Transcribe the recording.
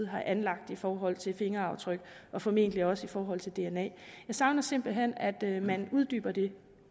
har anlagt i forhold til fingeraftryk og formentlig også i forhold til dna jeg savner simpelt hen at man uddyber det